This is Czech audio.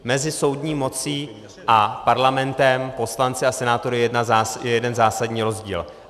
Mezi soudní mocí a Parlamentem, poslanci a senátory, je jeden zásadní rozdíl.